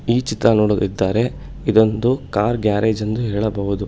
ಈ ಚಿತ್ರ ನೋಡದಿದ್ದರೆ ಇದೊಂದು ಕಾರ್ ಗ್ಯಾರೇಜ್ ಎಂದು ಹೇಳಬಹುದು.